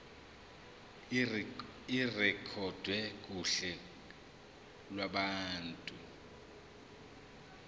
irekhodwe kuhla lwabantu